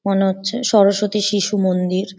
মনে হচ্ছে সরস্বতী শিশু মন্দির ।